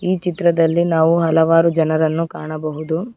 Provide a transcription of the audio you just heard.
ಈ ಚಿತ್ರದಲ್ಲಿ ನಾವು ಹಲವಾರು ಜನರನ್ನು ಕಾಣಬಹುದು.